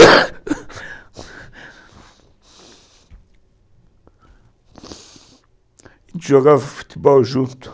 (tosse e choro) A gente jogava futebol junto.